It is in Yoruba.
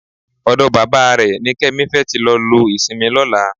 Ọ̀dọ bàbá rẹ̀ ni Kẹ́mi fẹ́ tí lọ lo ìsinmi lọ́la